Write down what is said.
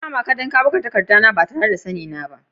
Zan kama ka dan ka buga takadda na ba tare na da sanni na ba.